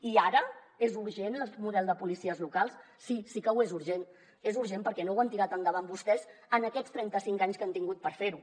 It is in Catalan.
i ara és urgent el model de policies locals sí sí que ho és d’urgent és urgent perquè no ho han tirat endavant vostès en aquests trenta cinc anys que han tingut per fer ho